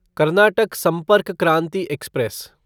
Karnataka Sampark Kranti express